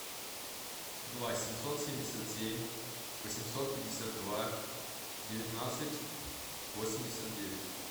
два семьсот семьдесят семь восемьсот пятьдесят два девятнадцать восемьдесят девять